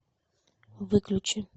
выключи